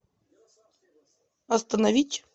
остановить